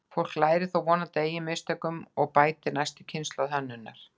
Fólk lærir þó vonandi af eigin mistökum og bætir næstu kynslóð hönnunar.